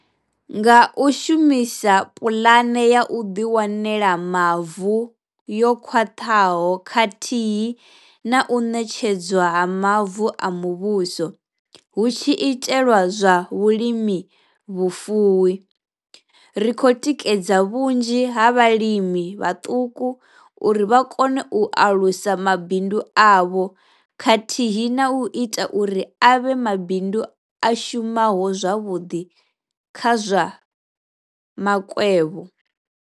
Nga u shumisa Puḽane ya u Ḓiwanela Mavu yo Khwaṱhaho khathihi na u ṋetshedzwa ha mavu a muvhuso hu tshi itelwa zwa vhulimi vhufuwi, ri khou tikedza vhunzhi ha vhalimi vhaṱuku uri vha kone u alusa mabindu avho khathihi na u ita uri a vhe mabindu a shumaho zwavhuḓi kha zwa makwevho.